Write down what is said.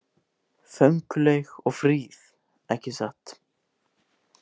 Fönguleg og fríð ekki satt?